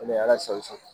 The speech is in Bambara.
O de ye ala sago i sago